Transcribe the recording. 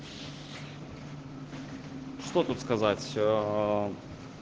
что тут сказать все оо